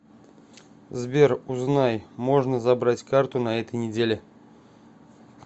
сбер узнай можно забрать карту на этой неделе